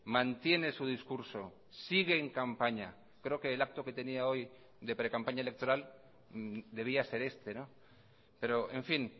mantiene su discurso sigue en campaña creo que el acto que tenía hoy de precampaña electoral debía ser este pero en fin